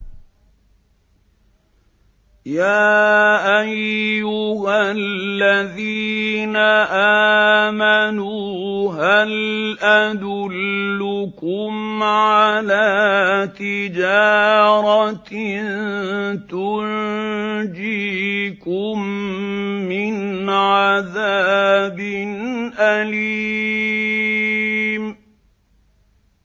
يَا أَيُّهَا الَّذِينَ آمَنُوا هَلْ أَدُلُّكُمْ عَلَىٰ تِجَارَةٍ تُنجِيكُم مِّنْ عَذَابٍ أَلِيمٍ